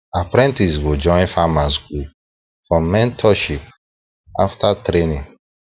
apprentices go join farmers group for mentorship after training